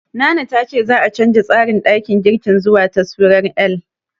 Nana ta ce za'a canja tsarin ɗakin girkin zuwa taswirar L.